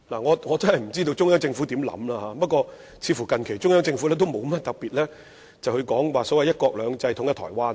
我不知道中央政府有何想法，但它近期似乎亦沒有特別提及"一國兩制"或統一台灣等。